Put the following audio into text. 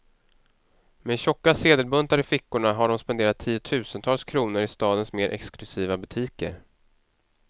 Med tjocka sedelbuntar i fickorna har de spenderat tiotusentals kronor i stadens mer exklusiva butiker.